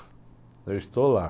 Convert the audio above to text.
Eu estou lá.